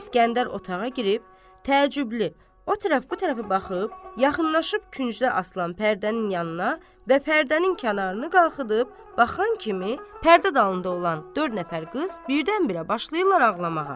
İsgəndər otağa girib təəccüblü o tərəf bu tərəfə baxıb, yaxınlaşıb küncdə asılan pərdənin yanına və pərdənin kənarını qaxıdıb baxan kimi pərdə dalında olan dörd nəfər qız birdən-birə başlayırlar ağlamağa.